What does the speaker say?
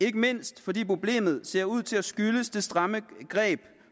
ikke mindst fordi problemet ser ud til at skyldes det stramme greb